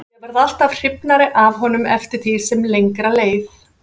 Ég varð alltaf hrifnari af honum eftir því sem lengra leið.